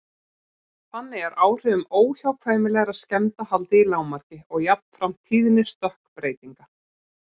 Þannig er áhrifum óhjákvæmilegra skemmda haldið í lágmarki og jafnframt tíðni stökkbreytinga.